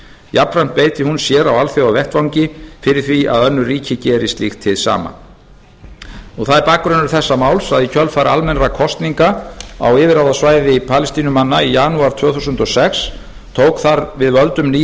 jafnframt beiti hún sér á alþjóðavettvangi fyrir því að önnur ríki geri slíkt hið sama það er bakgrunnur þessa máls að í kjölfar almennra kosninga á yfirráðasvæði palestínumanna í janúar tvö þúsund og sex tók þar við völdum ný